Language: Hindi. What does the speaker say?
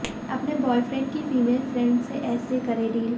अपने बॉयफ्रेंड की फीमेल फ्रेंड से ऐसे करें डील